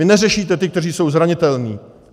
Vy neřešíte ty, kteří jsou zranitelní.